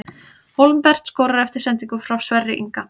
Hólmbert skorar eftir sendingu frá Sverri Inga!